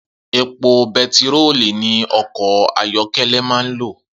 Epo be̩tiróòlù ni o̩kò̩ ayó̩ké̩lé̩ máa ń lò